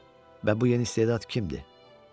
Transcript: Və bu yeni istedad kimdir?